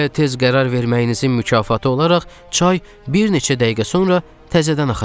Belə tez qərar verməyinizin mükafatı olaraq çay bir neçə dəqiqə sonra təzədən axacaq.